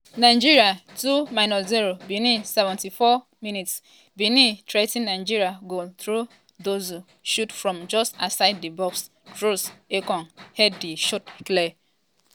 nigeria 2-0 benin 74 mins -- benin threa ten nigeria goal through dossou shot from just outside di box troost-ekong head di shot clear.